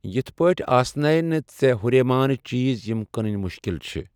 یِتھہٕ پٲٹھۍ آسنے نہٕ ژےٚ ہُریمان چیز یِم کٕنٕنۍ مُشکِل چھِ ۔